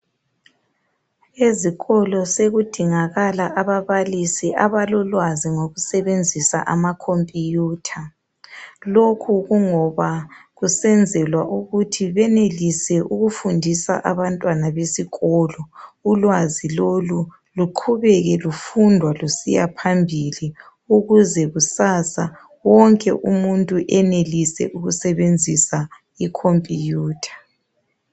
Ezikolo sokudingakala ababalisi abalolwazi ngokusebenzisa ama computer. Lokhu kungoba kusenzelwa ukuthi benelise ukufundisa abantwana besikolo ulwazi lolu luqhubeke lufundwa lusiyaphambili ukuze kusasa wonke umuntu enelise ukusebenzisa icomputer.